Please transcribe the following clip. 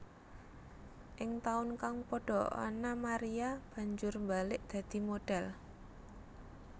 Ing taun kang padha Anna Maria banjur mbalik dadi modhél